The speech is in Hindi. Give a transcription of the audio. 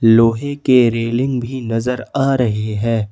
लोहे के रेलिंग भी नजर आ रही है।